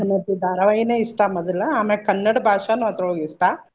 ಕನ್ನಡತಿ ಧಾರವಾಹಿನೆ ಇಷ್ಟ ಮೊದಲ ಆಮ್ಯಾಗ್ ಕನ್ನಡ ಭಾಷಾನು ಅದ್ರೊಳಗ್ ಇಷ್ಟ.